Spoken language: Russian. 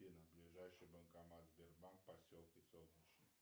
афина ближайший банкомат сбербанк в поселке солнечный